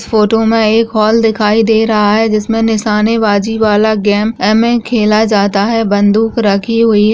इस फोटो में एक होल दिखाई दे रहा हैजिस में निसाने बाजी वाला गेम एमे खेला जाता है बन्दुक रखी हुई है।